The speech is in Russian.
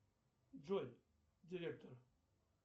джой директор